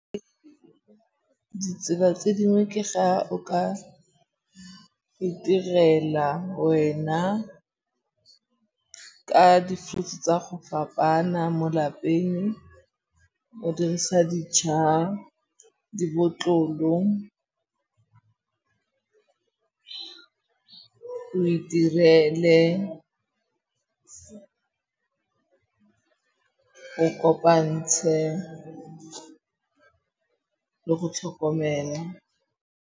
Ditsela tse dingwe ke ga o ka itirela wena ka di-fruits tsa go fapana mo lapeng. O dirisa , dibotlolo, o itirele, o kopantshe le go tlhokomela.